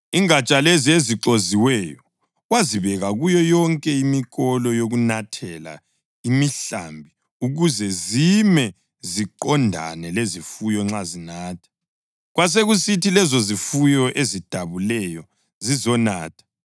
Ingatsha lezi ezixoziweyo wazibeka kuyo yonke imikolo yokunathela imihlambi ukuthi zime ziqondane lezifuyo nxa zinatha. Kwakusithi lezozifuyo ezidabuleyo zizonatha